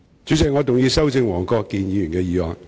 主席，我動議修正黃國健議員的議案。